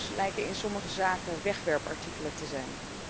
Werknemers lijken in sommige zaken wegwerpartikelen te zijn.